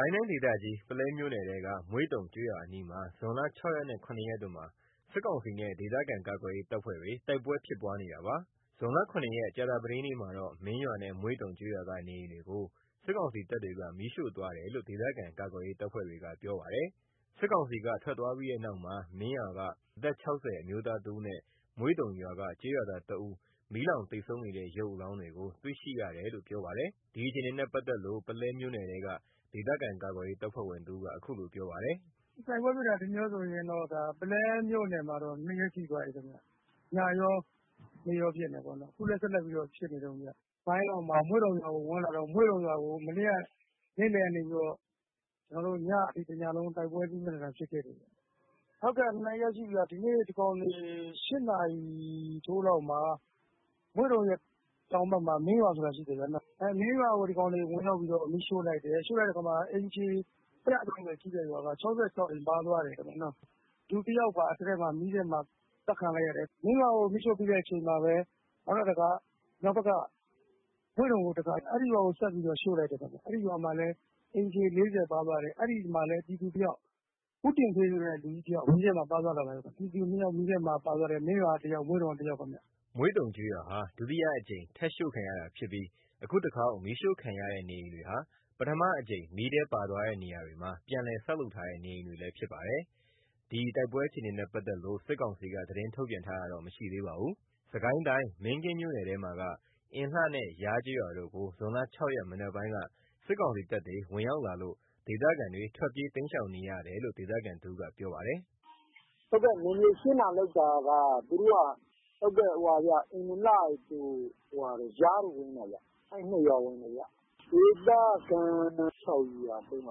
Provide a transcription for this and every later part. ိုင်းဒေသကြီး ပုလဲမြို့နယ်ထဲက မွေ့တုံကျေးရွာအနီးမှာ ဇွန်လ ၆ ရက်နဲ့ ၇ ရက်တို့မှာ စစ်ကောင်စီနဲ့ ဒေသခံကာကွယ်ရေးတပ်ဖွဲ့တွေ တိုက်ပွဲဖြစ်ပွားနေတာပါ။ ဇွန်လ ၇ ရက် ကြာသပတေးနေ့မှာတော့ မင်းရွာနဲ့ မွေ့တုံကျေးရွာက နေအိမ်တွေကို စစ်ကောင်စီတပ်တွေက မီးရှို့သွားတယ်လို့ ဒေသခံကာကွယ်ရေး တပ်ဖွဲ့တွေက ပြောပါတယ်။ စစ်ကောင်စီက ထွက်သွားပြီးတဲ့နောက်မှာ မင်းရွာက အသက် ၆၀ အမျိုးသားတဦးနဲ့ မွေ့တုံရွာက ကျေးရွာသား ၁ ဦး မီးလောင်သေဆုံးနေတဲ့ ရုပ်အလောင်းတွေကို တွေ့ရှိရတယ်လို့လည်း ပြောပါတယ်။ ဒီအခြေအနေနဲ့ ပတ်သက်လို့ ပုလဲမြို့နယ်ထဲက ဒေသခံကာကွယ်ရေး တပ်ဖွဲ့ဝင်တဦးက အခုလိုပြောပါတယ်။ “တိုက်ပွဲဖြစ်တာ ဒီနေ့ကောဆိုရင် ပုလဲမြို့နယ်မှာ ၂ ရက်ရှိသွားပြီခင်ဗျ။ ညကော နေ့ကောဖြစ်နေတာပေါ့နော်။ အခုလည်းဆက်လက်ပြီးတော့ ဖြစ်နေတုန်းဗျ။ မွေ့တုံရွာကို မနေ့ နေ့လည်လောက်ကနေပြီးတော့ ညအထိ ကျွန်တော်တို့ တိုက်ပွဲပြင်းပြင်းထန်ထန် ဖြစ်ခဲ့တယ်။” “ ဟုတ်ကဲ့.. ဒီနေ့ ဒီကောင်တွေ ၈ နာရီထိုးလောက်မှာ မွေ့တုံရဲ့တောင်ဘက်မှာ မင်းရွာဆိုတာရှိတယ်။ မင်းရွာကို ဒီကောင်တွေ ဝင်ရောက်ပြီး မီးရှို့လိုက်တယ်။ ရှို့လိုက်တဲ့အခါ အိမ်ခြေ ၁၃၀ ရှိတဲ့ရွာက ၆၆ အိမ်ပါသွားတယ်။ လူတယောက်ပါ မီးထဲမှာ အသတ်ခံလိုက်ရတယ်။ မင်းရွာကိုမီးရှို့ပြီးတဲ့အချိန်မှာပဲ နောက်ထပ်တခါ မွေ့တုံကို အဲ့ရွာကိုဆက်ရှို့လိုက်တယ်။ အဲ့ရွာမှာလည်း အိမ်ခြေ ၄၀ လောက်ပါသွားတယ်။ အဲ့မှာလည်း ပြည်သူတဦး ဦးတင်ဖေဆိုတဲ့ လူကြီးတယောက် မီးထဲမှာပါသွားတယ်။ ပြည်သူ ၂ ယောက်မီးထဲမှာပါသွားတယ်။ မင်းရွာက တယောက် မွေ့တုံက တယောက်ခင်ဗျ။” မွေ့တုံကျေးရွာဟာ ဒုတိယအကြိမ်ထပ်ရှို့ခံရတာဖြစ်ပြီး အခုတခေါက်မီးရှို့ခံရတဲ့နေအိမ်တွေဟာ ပထမအကြိမ် မီးထဲပါသွားတဲ့နေရာတွေမှာ ပြန်လည်ဆောက်လုပ်ထားတဲ့ နေအိမ်တွေလည်းဖြစ်ပါတယ်။ တိုက်ပွဲအခြေအနေနဲ့ ပတ်သက်လို့ စစ်ကောင်စီက သတင်းထုတ်ပြန်တာတော့ မရှိသေးပါဘူး။ စစ်ကိုင်းတိုင်း မင်းကင်းမြို့နယ်ထဲမှာက အင်လှ ယားကျေးရွာတို့ကို ဇွန်လ ၆ ရက် မနက်ပိုင်းက ဝင်ရောက်လာပြီး ဒေသခံတွေ ထွက်ပြေး တိမ်းရှောင်နေရတယ်လို့ ဒေသခံတဦးက ပြောပါတယ်။ “နယ်မြေရှင်းတာ လုပ်တာက သူတို့က အင်လှတို့ ယား တို့ကို ဝင်နေတာခင်ဗျ။ အဲ့ ၂ ရွာ ဝင်တယ်ခင်ဗျ။ ဒေသခံ ၆၀၀+၃၀၀ - ၉၀၀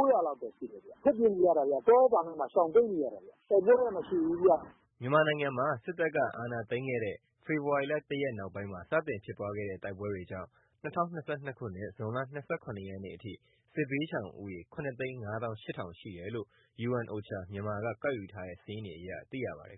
လောက်တော့ရှိမယ်။ ထွက်ပြေးနေရတယ်။ တောထဲတောင်ထဲမှာ ရှောင်တိမ်းနေရတယ်။ တိုက်ပွဲတော့ မဖြစ်ဘူးခင်ဗျ။” မြန်မာနိုင်ငံမှာ စစ်တပ်က အာဏာသိမ်းခဲ့တဲ့ ဖေဖော်ဝါရီ ၁ ရက် နောက်ပိုင်းမှာ စတင်ဖြစ်ပွားတဲ့ တိုက်ပွဲတွေကြောင့် ၂၀၂၂ ခုနှစ် ဇွန် ၂၇ ရက်အထိ စစ်ဘေးရှောင်ဦးရေ ၇၅၈,၀၀၀ ရှိတယ်လို့ UNOCHA က ကောက်ယူထားတဲ့ စာရင်းတွေအရ သိရပါတယ်